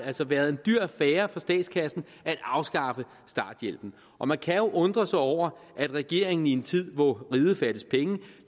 altså været en dyr affære for statskassen at afskaffe starthjælpen og man kan jo undre sig over at regeringen i en tid hvor riget fattes penge